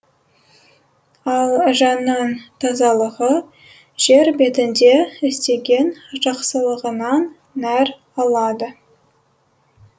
ал жанның тазалығы жер бетінде істеген жақсылығынан нәр алады